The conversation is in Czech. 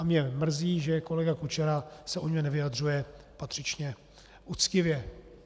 A mě mrzí, že kolega Kučera se o něm nevyjadřuje patřičně uctivě.